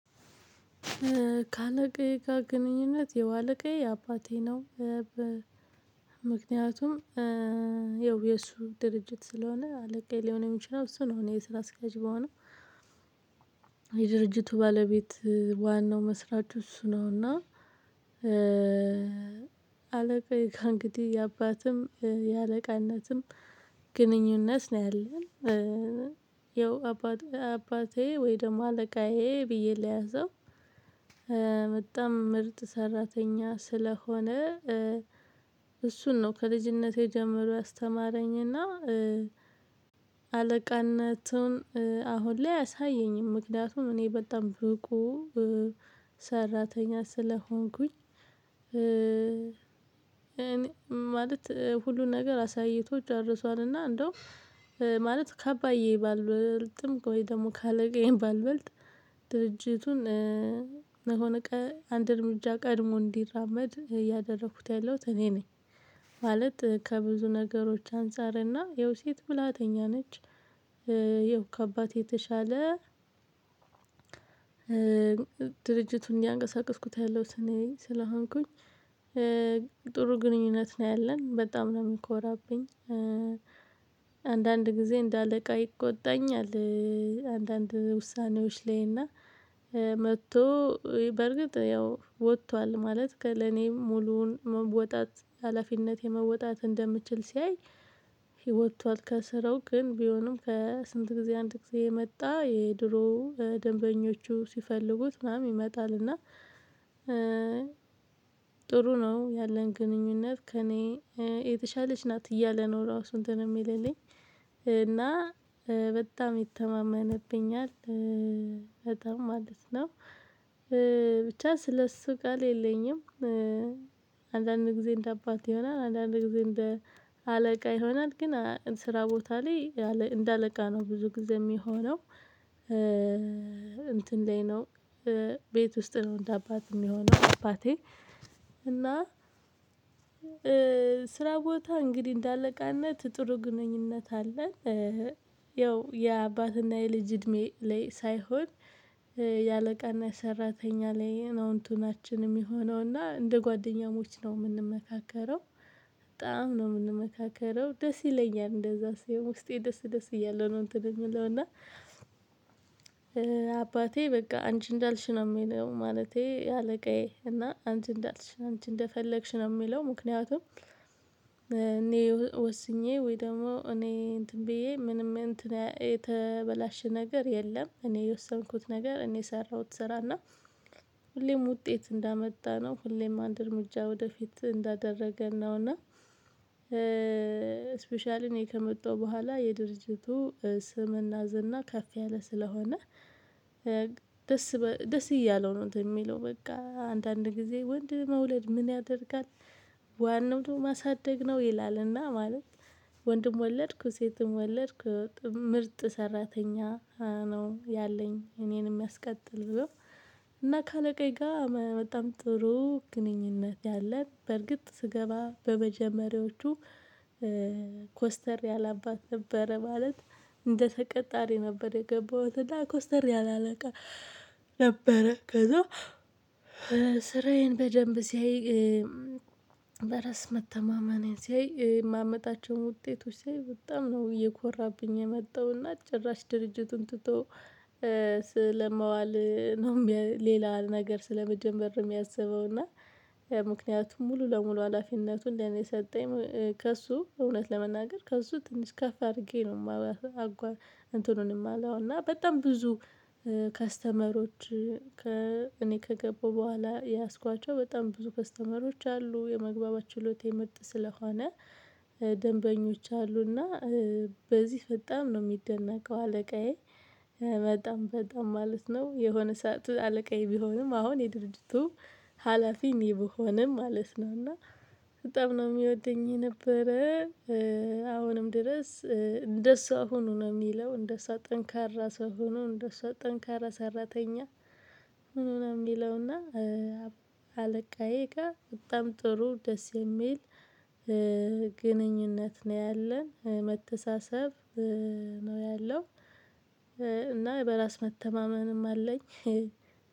ከአለቃዬ ጋር ግንኙነት ያው አለቃዬ አባቴ ነው። ምክንያቱም ያው የእሱ ድርጅት ስለሆነ አለቃዬ ሊሆን የሚችለው እሱ ነው እኔ የስራ እስኬያጅ ብሆንም። የድርጅቱ ባለቤት ዋናው መስራቹ እሱ ነውና። አለቃዬ እንግዲህ የአባትም የአለቃነትም ግንኙነት ነው ያለን። ያው አባቴ አባቴ ወይ ደግሞ አለቃዬ ብዬ ለያዘው በጣም ምርጥ ሰራተኛ ስለሆነ። እሱ ነው ከልጅነቴ ጀምሮ ያስተማረኝና አለቃነቱን አሁን ላይ አያሳየኝም ምክንያቱም እኔ በጣም ብቁ ሰራተኛ ስለሆንኩኝ። እኔ ማለት ሁሉን ነገር አሳይቶ ጨርሷልና እንደውም ከአባዬ ባልበልጥም ወይ ደግሞ ካለቃዬም ባልበልጥ ድርጅቱን አንድ እርምጃ ቀድሞ እንዲራመድ እያደረኩት ያለሁት እኔ ነኝ። ማለት ከብዙ ነገሮች አንፃርና ይኸው ሴት ብላተኛ ነች። ይኸው ከአባቴ የተሻለ ድርጅቱን እያንቀሳቀስኩት ያለሁት እኔ ስለሆንኩኝ ጥሩ ግንኙነት ነው ያለን በጣም ነው የሚንኮራብኝ። አንዳንድ ጊዜ እንደ አለቃ ይቆጣኛል። አንዳንድ ውሳኔዎች ላይ እና መጥቶ በርግጥ ያው ወጥቷል ማለት ከለኔ ሙሉውን መውጣት ሀላፊነቴን መውጣት እንደምችል ሲያይ። ወጥቷል ከስራው ግን ቢሆንም ከስንት ጊዜ አንድ ጊዜ እየመጣ የድሮ ደንበኞቹ ሲፈልጉት ምናምን ይመጣል። እና ጥሩ ነው ያለን ግንኙነት ከእኔ የተሻለች ናት እያለ ነው ራሱ እንትን የሚልልኝ እና በጣም ይተማመነብኛል። በጣም ማለት ነው። ስለሱ ቃል የለኝም። አንዳንድ ጊዜ እንደ አባት ይሆናል አንዳንድ ጊዜ እንደ አለቃ ይሆናል ግን ስራ ቦታ ላይ እንደ አለቃ ነው ብዙ ጊዜ የሚሆነው። እንትን ላይ ነው። ቤት ውስጥ ነው እንደ አባት የሚሆነው አባቴ እና ስራ ቦታ እንግዲህ እንደ አለቃነት ጥሩ ግንኙነት አለን። ያው የአባትና የልጅ እድሜ ላይ ሳይሆን የአለቃና የሰራተኛ ላይ ነው እንትናችን የሚሆነው እና እንደ ጓደኛሞች ነው የምንመካከረው። በጣም ነው የምንመካከረው ደስ ይለኛል እንደዛ ሲሆን ውስጤ ደስ ደስ እያለሁ ነው። እንትን የምለው እና አባቴ በቃ አንቺ እንዳልሽ ነው የሚለው ማለቴ አለቃዬ እና አንቺ እንዳልሽ አንቺ ነው የሚለው። ምክንያቱም እኔ ወስኜ ወይ ደግሞ እኔ እንትን ብዬ ምንም እንትን የተበላሸ ነገር የለም። እኔ የወሰንኩት ነገር እኔ ሰራሁት ስራና ሁሌም ውጤት እንዳመጣነው ሁሌም አንድ እርምጃ ወደፊት እንዳደረገን ነው። እና ስፔሻሊ እኔ ከመጣሁ በኋላ የድርጅቱ ስምና ዝና ከፍ ያለ ስለሆነ ደስ ደስ እያለው ነው። የሚለው በቃ አንዳንድ ጊዜ ወንድ መውለድ ምን ያደርጋል? ዋናው ደግሞ ማሳደግ ነው ይላልና ማለት ወንድም ወለድኩ ሴትም ወለድኩ ምርጥ ሰራተኛ ነው ያለኝ እኔንም የሚያስቀጥል ብሎ። እና ከአለቃዬ ጋር በጣም ጥሩ ግንኙነት ያለን በርግጥ ስገባ በመጀመሪያዎቹ ኮስተር ያለ አባት ነበረ ማለት። እንደ ተቀጣሪ ነበር የገባሁት እና ኮስተር ያለ አለቃ ነበረ ከዛ። ስራዬን በደንብ ሲያይ በራስ መተማመኔን ሲያይ የማመጣቸውን ውጤቶች ሲያይ በጣም ነው እየኮራብኝ የመጣውና። ጭራሽ ድርጅቱን ትቶ ስለማዋል ነው ሌላ ነገር ስለመጀመር ነው የሚያስበው። እና ምክንያቱም ሙሉ ለሙሉ ሀላፊነቱን ለኔ ሰጠኝ። ከእሱ እውነት ለመናገር ከእሱ ትንሽ ከፍ አድርጌ ነው የማወራው። እንትኑን የማለው እና በጣም ብዙ ከስተመሮች ከ እኔ ከገቡ በኋላ የያዝኳቸው በጣም ብዙ ከስተመሮች አሉ የመግባባች ችሎታየ ምርጥ ስለሆነ። ደንበኞች አሉና። በዚህ ፈጣም ነው የሚደነቀው አለቃዬ። በጣም በጣም ማለት ነው የሆነ ሰዓት አለቃዬ ቢሆንም አሁን የድርጅቱ ሀላፊ እኔ ብሆንም ማለት ነው እና በጣም ነው የሚወደኝ ነበረ። አሁንም ድረስ እንደሷ ሁኑ ነው የሚለው እንደሷ ጠንካራ ሰው ሁኑ እንደሷ ጠንካራ ሰራተኛ ሆኑ ነው። የሚለውና አለቃዬ ጋር በጣም ጥሩ ደስ የሚል ግንኙነት ነው ያለን መተሳሰብ ነው ያለው። እና በራስ መተማመንም አለኝ።